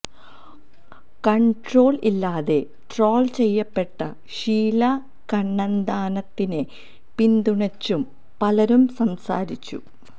control ഇല്ലാതെ troll ചെയ്യപ്പെട്ട ഷീലാ കണ്ണന്താനത്തിനെ പിന്തുണച്ചും പലരും സംസാരിച്ചു